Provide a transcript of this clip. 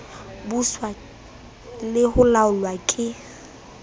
buswa le ho laolwa ke